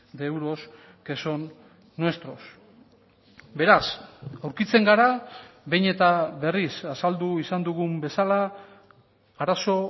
de euros que son nuestros beraz aurkitzen gara behin eta berriz azaldu izan dugun bezala arazo